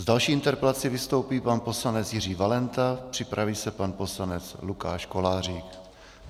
S další interpelací vystoupí pan poslanec Jiří Valenta, připraví se pan poslanec Lukáš Kolářík.